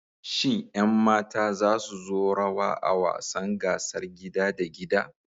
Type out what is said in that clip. Shin ƴan mata za su yi rawa a wasan gasar gida da gida?